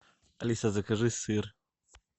алиса закажи сыр